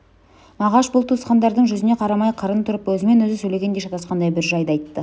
мағаш бұл туысқандардың жүзіне қарамай қырын тұрып өзімен өзі сөйлегендей шатасқандай бір жайды айтты